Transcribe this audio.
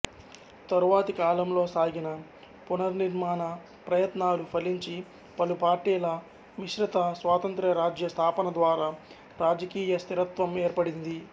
తరువాతి కాలంలో సాగిన పునర్నిర్మాణ ప్రయత్నాలు ఫలించి పలుపార్టీల మిశ్రిత స్వాతంత్ర్య రాజ్య స్థాపన ద్వారా రాజకీయ స్థిరత్వం ఏర్పడింది